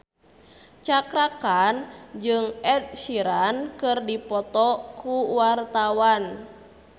Cakra Khan jeung Ed Sheeran keur dipoto ku wartawan